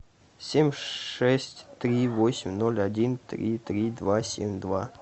семь шесть три восемь ноль один три три два семь два